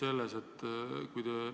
Mul on ka jätkuküsimus.